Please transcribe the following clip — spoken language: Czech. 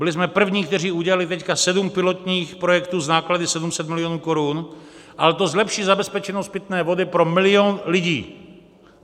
Byli jsme první, kteří udělali teď sedm pilotních projektů s náklady 700 milionů korun, ale to zlepší zabezpečenost pitné vody pro milion lidí.